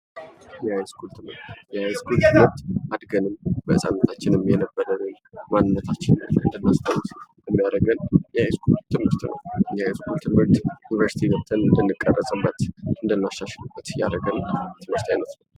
የሀያስኩል ትምህርት:- የሀያስኩል ትምህርት በህፃንነታችን የነበረ ነዉ። ማንነታችንን ለማስታወስ የሚያደርገን የሀያሰሰኩል ትምህርት ነዉ። የሀያስኩል ትምህርት ዩኒቨርስቲ ገብተን የምንቀረፅበት እንድናሻሻል የሚያደርገን የትምህርት አይነት ነዉ።